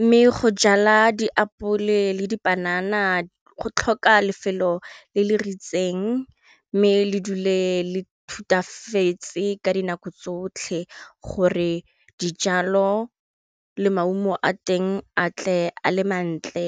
mme go jala diapole le dipanana go tlhoka lefelo le le ritseng mme le dule le thutafatse ka dinako tsotlhe gore dijalo le maungo a teng a tle a le mantle.